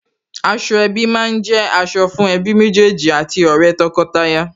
Aṣọ ẹbí má ń jẹ́ aṣọ fún ẹbí méjèèjì àti ọ̀rẹ́ tọkọtaya